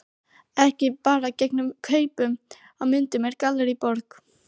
Ekki bara gegn kaupum á myndum úr Gallerí Borg.